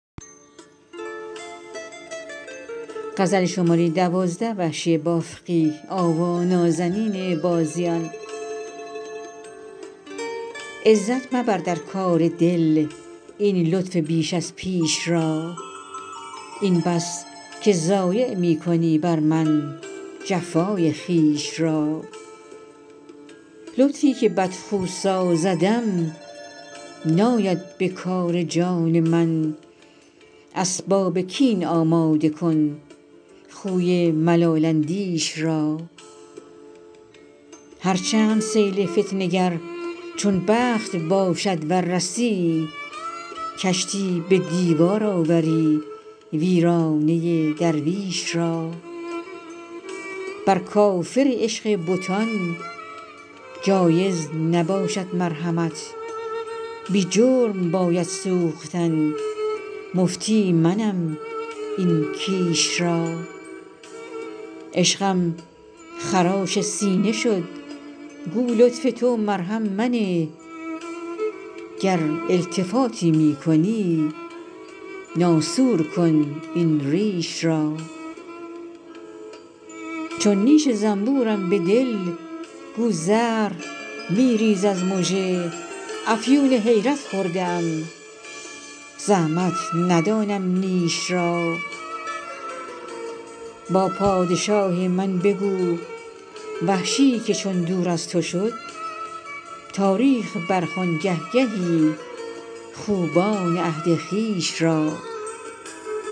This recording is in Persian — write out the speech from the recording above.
عزت مبردر کار دل این لطف بیش از پیش را این بس که ضایع می کنی برمن جفای خویش را لطفی که بد خو سازدم ناید به کار جان من اسباب کین آماده کن خوی ملال اندیش را هر چند سیل فتنه گر چون بخت باشد ور رسی کشتی به دیوار آوری ویرانه درویش را بر کافر عشق بتان جایز نباشد مرحمت بی جرم باید سوختن مفتی منم این کیش را عشقم خراش سینه شد گو لطف تو مرهم منه گر التفاتی می کنی ناسور کن این ریش را چون نیش زنبورم به دل گو زهر می ریز از مژه افیون حیرت خورده ام زحمت ندانم نیش را با پادشاه من بگو وحشی که چون دور از تو شد تاریخ برخوان گه گهی خوبان عهد خویش را